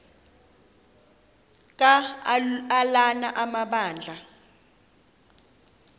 ka ulana amabandla